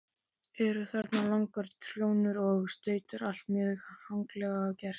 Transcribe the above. Eru þarna langar trjónur og stautar, allt mjög haganlega gert.